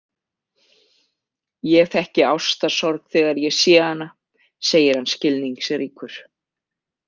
Ég þekki ástarsorg þegar ég sé hana, segir hann skilningsríkur.